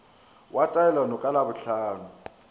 wa taelano ka labohlano o